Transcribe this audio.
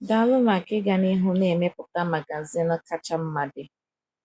“Daalụ maka ịga n’ihu na-emepụta magazin kacha mma dị.